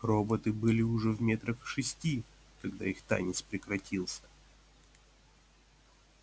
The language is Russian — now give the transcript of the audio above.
роботы были уже метрах в шести когда их танец прекратился